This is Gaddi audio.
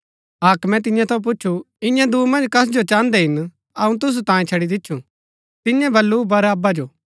हाक्मे तियां थऊँ पुछु इआं दूँ मन्ज कस जो चाहन्दै हिन अऊँ तुसु तांयें छड़ी दिच्छु तियें बल्लू बरअब्बा जो